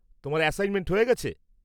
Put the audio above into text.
তোমার অ্যাসাইনমেন্ট হয়ে গেছে?